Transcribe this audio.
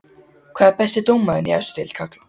Hver er besti dómarinn í efstu deild karla?